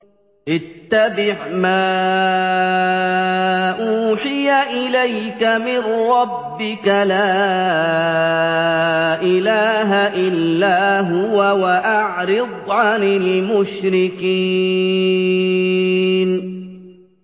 اتَّبِعْ مَا أُوحِيَ إِلَيْكَ مِن رَّبِّكَ ۖ لَا إِلَٰهَ إِلَّا هُوَ ۖ وَأَعْرِضْ عَنِ الْمُشْرِكِينَ